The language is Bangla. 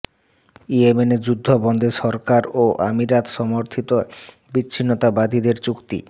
ইয়েমেন যুদ্ধ বন্ধে সরকার ও আমিরাত সমর্থিত বিচ্ছিন্নতাবাদীদের চুক্তি